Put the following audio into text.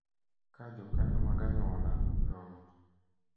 Ka jokanyo mag anyuola, joot,